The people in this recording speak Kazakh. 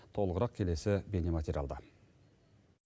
толығырақ келесі бейнематериалда